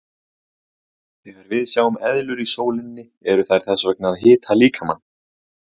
Þegar við sjáum eðlur í sólinni eru þær þess vegna að hita líkamann.